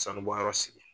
Sanubɔyɔrɔ sigi